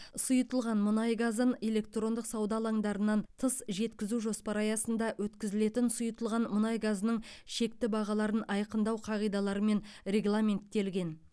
сұйытылған мұнай газын электрондық сауда алаңдарынан тыс жеткізу жоспары аясында өткізілетін сұйытылған мұнай газының шекті бағаларын айқындау қағидаларымен регламенттелген